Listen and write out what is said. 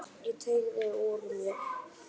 Ég teygði úr mér.